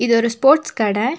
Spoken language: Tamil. இது ஒரு ஸ்போர்ட்ஸ் கடை.